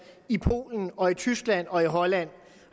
i polen og i tyskland og i holland